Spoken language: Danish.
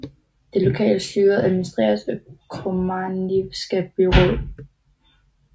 Det lokale styre administreres af Komarnivska byråd